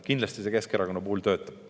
Kindlasti see Keskerakonna puhul töötab.